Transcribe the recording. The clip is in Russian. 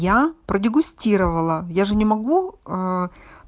я продегустировала я же не могу